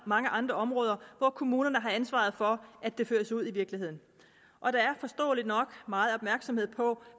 mange andre områder hvor kommunerne har ansvaret for at det føres ud i virkeligheden og der er forståeligt nok meget opmærksomhed på